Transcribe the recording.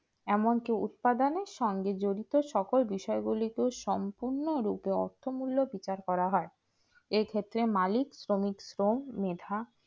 এমনকি উৎপাদনে সঙ্গে জড়িত সকল বিষয় গুলিকে সম্পূর্ণ রূপে অর্থমূল্য বিচার করা হয় এক্ষেত্রে মালিক শ্রমিক শ্রম মেধা